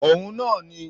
Òhun náà ni